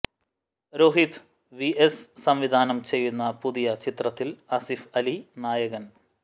Rohit VS സംവിധാനം ചെയ്യുന്ന പുതിയ ചിത്രത്തിൽ ആസിഫ് അലി നായകൻ